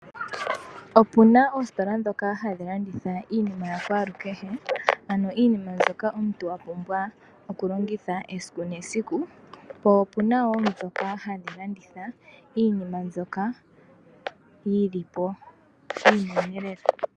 Opuna oositola dhoka hadhi landitha iinima yakwalu kehe, ano iinima mbyoka wapumbwa okulongitha esiku nesiku. Po opunawoo dhoka hadhilanditha iinima mbyoka yili po iinene lela.